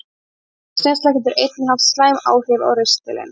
Áfengisneysla getur einnig haft slæmt áhrif á ristilinn.